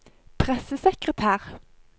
pressesekretær